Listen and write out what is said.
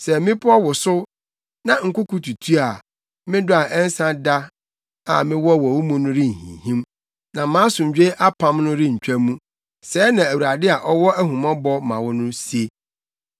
Sɛ mmepɔw wosow, na nkoko tutu a, me dɔ a ɛnsa da a mewɔ ma wo no renhinhim na mʼasomdwoe apam no rentwa mu,” sɛɛ na Awurade a ɔwɔ ahummɔbɔ ma mo no se.